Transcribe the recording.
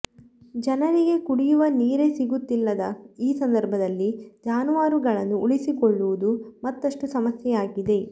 ಜನರಿಗೆ ಕುಡಿಯುವ ನೀರೇ ಸಿಗುತ್ತಿಲ್ಲದ ಈ ಸಂದರ್ಭದಲ್ಲಿ ಜಾನುವಾರುಗಳನ್ನು ಉಳಿಸಿಕೊಳ್ಳುವುದು ಮತ್ತಷ್ಟು ಸಮಸ್ಯೆಯಾಗಿದೆ